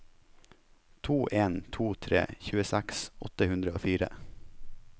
to en to tre tjueseks åtte hundre og fire